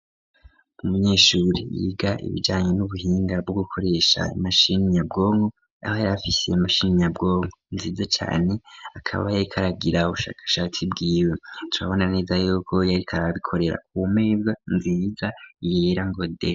Umunyeshuri yiga ibijanye n'ubuhinga bwo gukoresha imashini nyabwonko, aho yari afise imashini nyabwonko nziza cane akaba yariko aragira ubushakashatsi bwiwe, turabona neza yuko yariko arabikorera ku meza nziza yera ngo de.